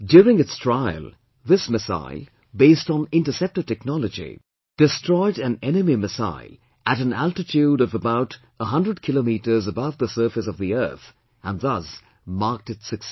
During its trial, this missile, based on interceptor technology, destroyed an enemy missile at an altitude of about 100 km above the surface of the earth and thus marked its success